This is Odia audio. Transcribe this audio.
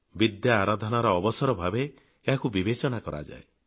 ବିଦ୍ୟା ଆରାଧନାର ଅବସର ଭାବେ ଏହାକୁ ବିବେଚନା କରାଯାଏ